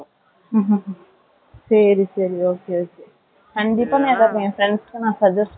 சரி, சரி, okay . கண்டிப்பா, நான் எதாவது, என் friends க்கு, நான் suggest பண்றேன்.